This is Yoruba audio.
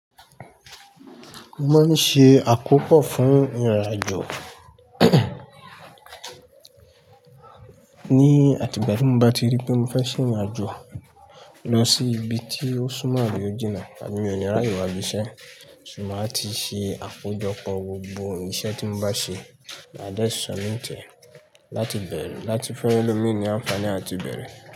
Mo máa ń ṣe àkópọ̀ fún ìrìn-àjò. Ni àti ìgbà tí mo bá ti rí pé mo fẹ́ ṣe ìrìn-àjò lọ sí ibi tí ó sún mọ́ abi o jìná àbí mí o ni ràye wá ibiṣẹ́, máa ti ṣe àkojọpọ̀ gbogbo iṣẹ́ tí mo bá ṣe ní maa dé submit láti bẹ̀rẹ̀, láti fun ẹ́lọmín ní àǹfààní àti bẹ̀rẹ̀.